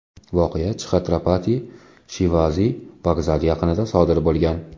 Voqea Chxatrapati Shivaji vokzali yaqinida sodir bo‘lgan.